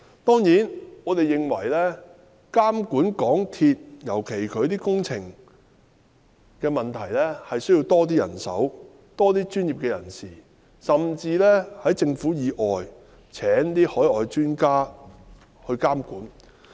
當然，我們認為在監管港鐵公司，尤其是其負責的鐵路工程方面，需要多些人手及專業人士，甚至要在政府以外聘請海外專家來監管。